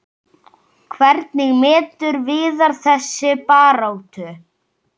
Hvernig metur Viðar þessa baráttu?